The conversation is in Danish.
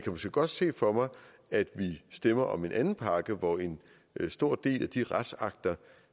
måske godt se for mig at vi stemmer om en anden pakke hvor en stor del af de retsakter